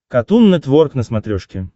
катун нетворк на смотрешке